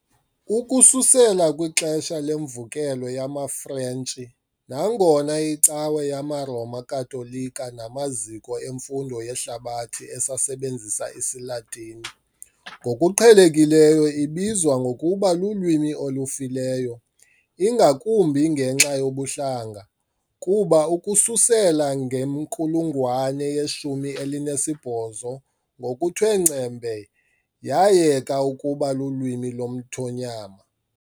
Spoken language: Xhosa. Ukususela kwixesha leMvukelo yamaFrentshi, nangona iCawa yamaRoma Katolika namaziko emfundo yehlabathi esasebenzisa isiLatini, ngokuqhelekileyo ibizwa ngokuba lulwimi olufileyo, ingakumbi ngenxa yobuhlanga, kuba ukususela ngenkulungwane yeshumi elinesibhozo ngokuthe ngcembe yayeka ukuba lulwimi lomthonyama.